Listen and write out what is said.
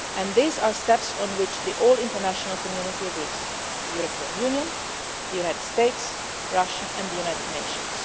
the ground. These are steps on which the whole international community agrees the European Union, the United States, Russia and the United